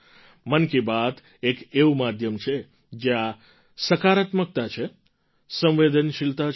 મન કી બાત એક એવું માધ્યમ છે જ્યાં સકારાત્મકતા છે સંવેદનશીલતા છે